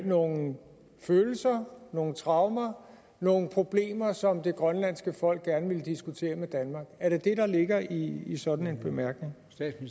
nogle følelser nogle traumer nogle problemer som det grønlandske folk gerne vil diskutere med danmark er det det der ligger i i sådan en bemærkning